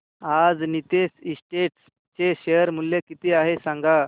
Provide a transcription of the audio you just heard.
आज नीतेश एस्टेट्स चे शेअर मूल्य किती आहे सांगा